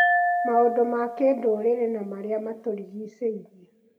maũndũ ma kĩndũrĩrĩ na marĩa matũrigicĩirie